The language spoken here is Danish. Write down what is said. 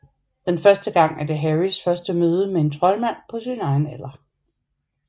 Den første gang er det Harrys første møde med en troldmand på sin egen alder